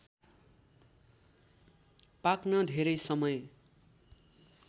पाक्न धेरै समय